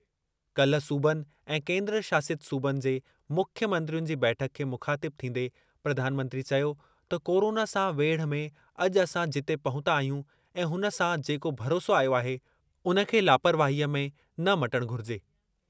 काल्हि सूबनि ऐं केन्द्र शासित सूबनि जे मुख्य मंत्रियुनि जी बैठक खे मुख़ातिब थींदे प्रधानमंत्री चयो त कोरोना सां वेढ़ में अॼु असां जिते पहुता आहियूं ऐं उन सां जेको भरोसो आयो आहे, उन खे लापरवाहीअ में न मटणु घुरिजे।